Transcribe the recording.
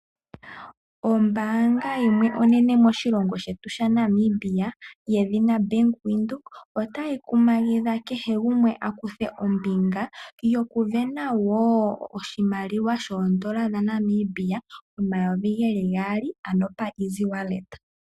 Ombaanga yaVenduka oto yi kumagudho kehe gumwe a kuthe ombinga yoku yamukula omapulo kombinga yombaanga ndjika opo a vule oku i sindanena oshimaliwa shoodola dhaNamibia omayovi geli gaali ano pamukalo ngono omupu pokutuma.